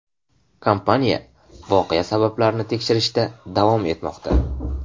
Kompaniya voqea sabablarini tekshirishda davom etmoqda.